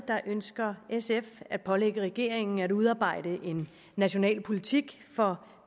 ønsker sf at pålægge regeringen at udarbejde en national politik for